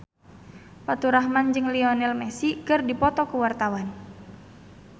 Faturrahman jeung Lionel Messi keur dipoto ku wartawan